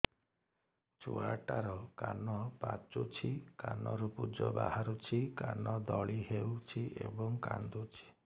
ଛୁଆ ଟା ର କାନ ପାଚୁଛି କାନରୁ ପୂଜ ବାହାରୁଛି କାନ ଦଳି ହେଉଛି ଏବଂ କାନ୍ଦୁଚି